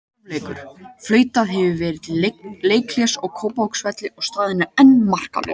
Hálfleikur: Flautað hefur verið til leikhlés á Kópavogsvelli og staðan enn markalaus.